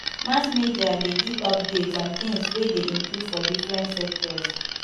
mass media de give updates on things wey de improve for different sectors